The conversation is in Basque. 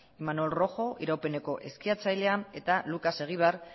imanol rojo iraupeneko eskiatzailea eta lucas eguibar